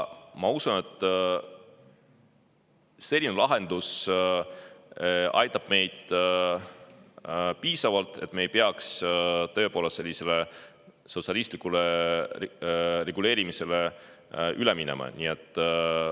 Ma usun, et selline lahendus aitab meid piisavalt, et me ei peaks sellisele tõepoolest sotsialistlikule reguleerimisele üle minema.